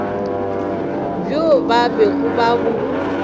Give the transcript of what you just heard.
bjo ba bego ba bo